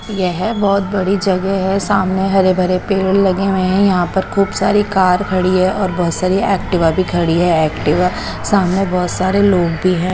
येह बोहोत बड़ी जगे है सामने हरे भरे पेड़ लगे हुए है यहा पर खूब सारी कार खड़ी है और बोहोत सारी एक्टिवा भी खड़ी है एक्टिवा सामने बोहोत सारे लोग भी है।